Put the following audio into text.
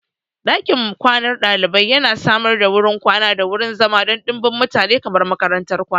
Ɗakin kwanan ɗalibai yana samar da wurin kwana da wurin zama don ɗimbin mutane kamar makarantar kwana.